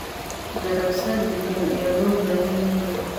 Daraasad deegaan ayaa loo baahan yahay.